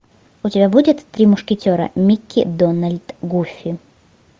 у тебя будет три мушкетера микки дональд гуфи